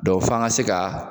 Dɔn f'an ga se ka